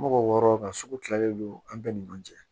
Mɔgɔ wɔɔrɔ ka sugu kilalen don an bɛɛ ni ɲɔgɔn cɛ